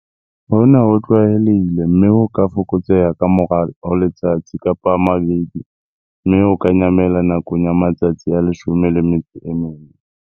Hona ho tlwaelehile, mme ho ka fokotseha ka morao ho letsatsi, kapa a mabedi, mme ho ka nyamela nakong ya matsatsi a 14.